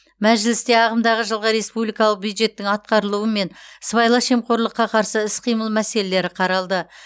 мәжілісте ағымдағы жылғы республикалық бюджеттің атқарылуы мен сыбайлас жемқорлыққа қарсы іс қимыл мәселелері қаралды